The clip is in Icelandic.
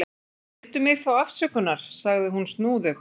Biddu mig þá afsökunnar, sagði hún snúðug.